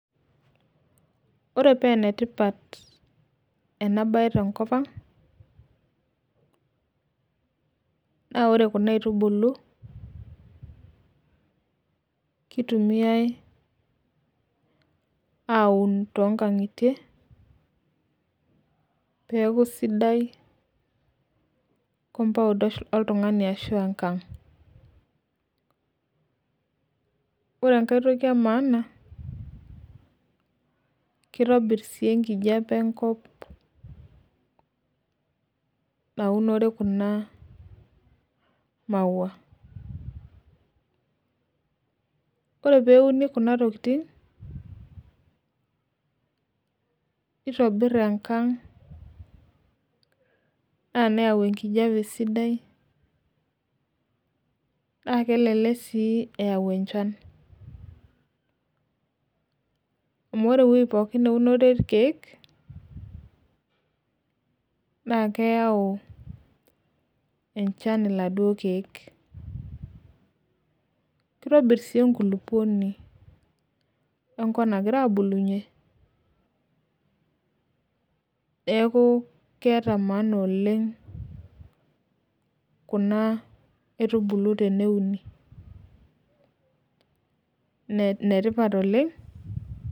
Ore paa enetipat ena bae tenkop ang, naa ore Kuna aitubulu kitumiae aun too nkang'itie peeku sidai compound oltungani ashu enkang. ore enkae toki e maana kitobir sii enkijiape enkop, naunore Kuna maua. ore peeuni Kuna tokitin neitobir enkang. naa neyau enkijiape sidai. naa kelelek sii eyau enchan. amu ore ewueji pookin neunore irkeek naa keyau enchan pooki iladuoo keek. kitobir sii enkulupuoni enkop nagira aabulunye neeku keeta maana oleng Kuna aitubulu teneuni. ene tipat oleng.